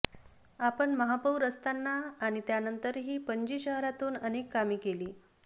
आपण महापौर असताना आणि त्यानंतरही पणजी शहरातून अनेक कामे केली